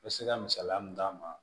I bɛ se ka misaliya min d'a ma